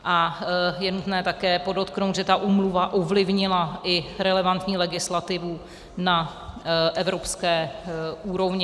A je nutné také podotknout, že ta úmluva ovlivnila i relevantní legislativu na evropské úrovni.